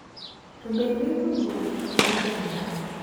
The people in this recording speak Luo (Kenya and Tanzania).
to bende tudruok e kind oganda.